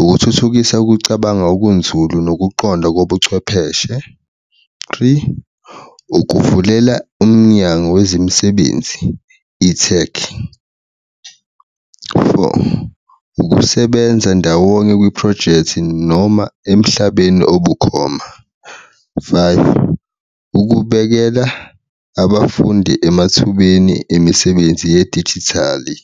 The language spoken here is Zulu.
ukuthuthukisa ukucabanga okunzulu nokuqonda kobuchwepheshe, three, ukuvulela umnyango wezemsebenzi ithekhi, four, ukusebenza ndawonye kwiphrojekthi noma emhlabeni obukhoma, five, ukubekela abafundi emathubeni emisebenzi yedijithali.